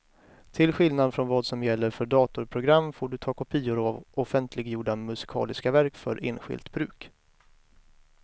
Till skillnad från vad som gäller för datorprogram får du ta kopior av offentliggjorda musikaliska verk för enskilt bruk.